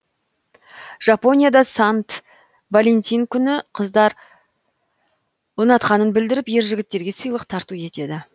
жапонияда сант валентин күні қыздар ұнатқанын білдіріп ер жігіттерге сыйлық тарту етеді